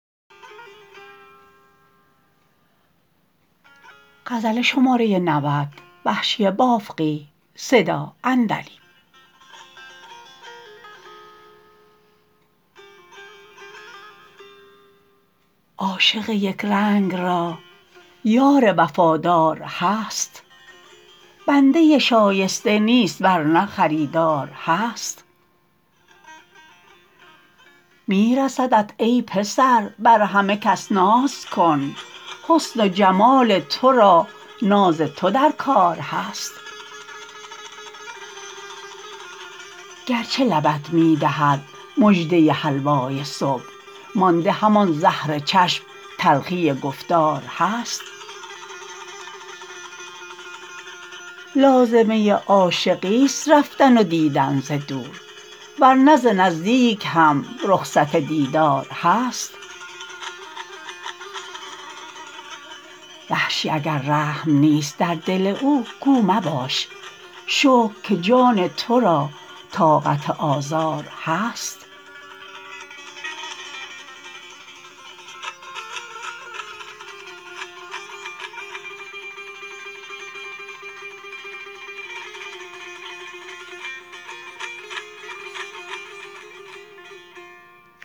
عاشق یکرنگ را یار وفادار هست بنده شایسته نیست ورنه خریدار هست می رسدت ای پسر بر همه کس ناز کن حسن و جمال تو را ناز تو در کار هست گرچه لبت می دهد مژده حلوای صبح مانده همان زهر چشم تلخی گفتار هست لازمه عاشقی ست رفتن و دیدن ز دور ورنه ز نزدیک هم رخصت دیدار هست وحشی اگر رحم نیست در دل او گو مباش شکر که جان تو را طاقت آزار هست